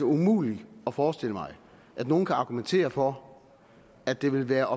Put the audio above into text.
umuligt at forestille mig at nogen kan argumentere for at det vil være